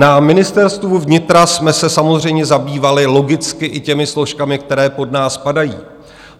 Na Ministerstvu vnitra jsme se samozřejmě zabývali logicky i těmi složkami, které pod nás spadají.